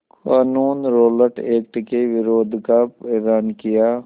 क़ानून Rowlatt Act के विरोध का एलान किया